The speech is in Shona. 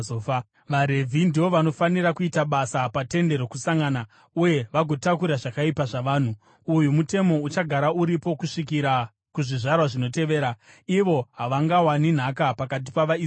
VaRevhi ndivo vanofanira kuita basa paTende Rokusangana uye vagotakura zvakaipa zvavanhu. Uyu mutemo uchagara uripo kusvikira kuzvizvarwa zvinotevera. Ivo havangawani nhaka pakati pavaIsraeri.